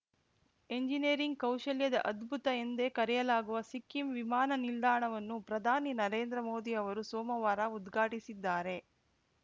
engineering ಕೌಶಲ್ಯದ ಅದ್ಭುತ ಎಂದೇ ಕರೆಯಲಾಗುವ ಸಿಕ್ಕಿಂ ವಿಮಾನ ನಿಲ್ದಾಣವನ್ನು ಪ್ರಧಾನಿ ನರೇಂದ್ರ ಮೋದಿ ಅವರು ಸೋಮವಾರ ಉದ್ಘಾಟಿಸಿದ್ದಾರೆ